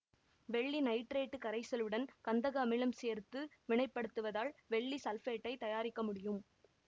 வெள்ளி நைட்ரேட்டு கரைசலுடன் கந்தக அமிலம் சேர்த்து வினைப்படுத்துவதால் வெள்ளி சல்பேட்டைத் தயாரிக்க முடியும்